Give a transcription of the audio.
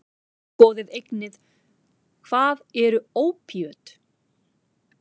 Skoðið einnig: Hvað eru ópíöt?